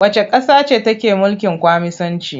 Wacce ƙasa ce take mulkin Kwaminisanci?